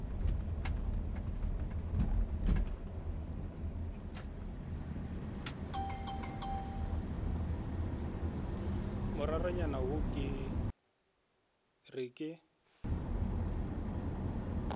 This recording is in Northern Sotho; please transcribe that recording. moraranyana yo ke re ke